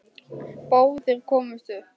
Báðir komust upp.